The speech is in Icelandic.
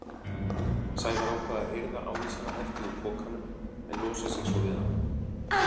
Sævar ákvað að hirða ávísanahefti úr pokanum en losa sig svo við hann.